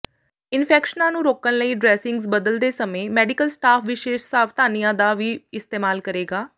ਇਨਫੈਕਸ਼ਨਾਂ ਨੂੰ ਰੋਕਣ ਲਈ ਡ੍ਰੈਸਿੰਗਜ਼ ਬਦਲਦੇ ਸਮੇਂ ਮੈਡੀਕਲ ਸਟਾਫ ਵਿਸ਼ੇਸ਼ ਸਾਵਧਾਨੀਆਂ ਦਾ ਵੀ ਇਸਤੇਮਾਲ ਕਰੇਗਾ